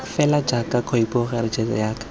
fela jaaka khopikgolo rejisetara ya